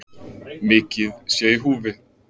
Mikið sé í húfi